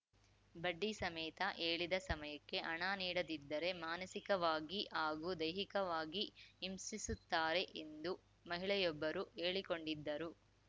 ಬಡ್ಡಿ ಸಮೇತ ಹೇಳಿದ ಸಮಯಕ್ಕೆ ಹಣ ನೀಡದಿದ್ದರೆ ಮಾನಸಿಕವಾಗಿ ಹಾಗೂ ದೈಹಿಕವಾಗಿ ಹಿಂಸಿಸುತ್ತಾರೆ ಎಂದು ಮಹಿಳೆಯೊಬ್ಬರು ಹೇಳಿಕೊಂಡಿದ್ದರು